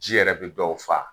Ji yɛrɛ bi dɔw faa.